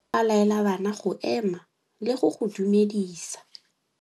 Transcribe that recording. Morutabana o tla laela bana go ema le go go dumedisa.